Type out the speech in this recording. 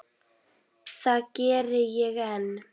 Það geri ég enn.